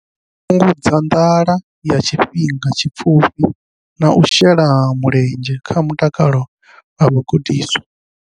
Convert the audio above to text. Fhungudza nḓala ya tshifhinga tshipfufhi na u shela mulenzhe kha mutakalo wa vhagudiswa.